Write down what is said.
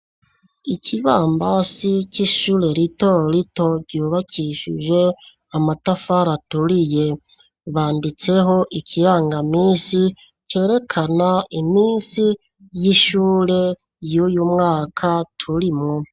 Ikibambasi c'ishure rito rito, ryubakishije amatafari aturiye, banditseho ikirangaminsi, cerekana iminsi y'ishure, y'uyu mwaka turimwo.